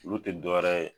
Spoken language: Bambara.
Olu tɛ dɔwɛrɛ ye